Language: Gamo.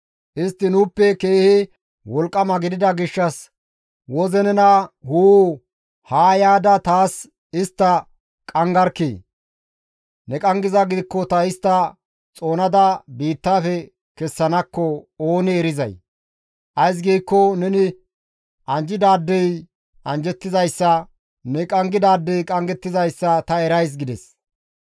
Istti nuuppe keehi wolqqama gidida gishshas woze nena huu! Haa yaada taas istta qanggarkkii! Ne qanggizaa gidikko ta istta xoonada biittafe kessanakko oonee erizay? Ays giikko neni anjjidaadey anjjettizayssa, ne qanggidaadey qanggettizayssa ta erays» gides.